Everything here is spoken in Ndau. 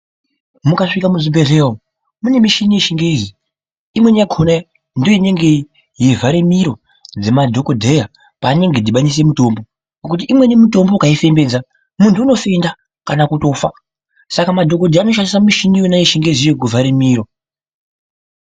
Mukasvika muzvibhedhlera umo mune michini yechingezi imweni yakona ndoinenge yeivhare miro dzemadhokodheya paanenge eidhibanise mitombo ngekuti imweni mitombo ukaifembedza muntu unofenda kana kutofa, Saka madhokodheya anoshandisa michiniyona yechingezi iyo kuvhare miro.